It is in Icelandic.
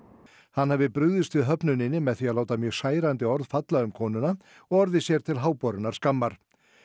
hann hafi brugðist við með því að láta mjög særandi orð falla um konuna og orðið sér til háborinnar skammar